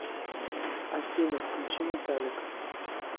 афина включи металлика